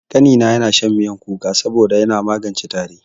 Ƙanina yana shan miyan kuka saboda yana magance tari.